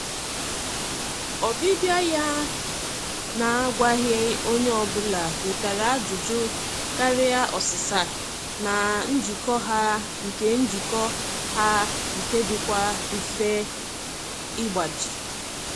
Ọbịbịa ya na-agwaghị onye ọbụla wetara ajụjụ karịa ọsịsa na njikọ ha nke njikọ ha nke dịkwa mfe ịgbaji.